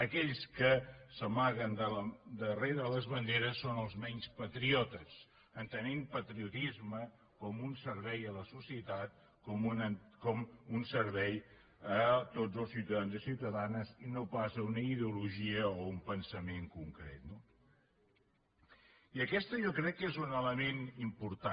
aquells que s’amaguen darrere les banderes són els menys patriotes entenent patriotisme com un servei a la societat com un servei a tots els ciutadans i ciutadanes i no pas a una ideologia o a un pensament concret no i aquest jo crec que és un element important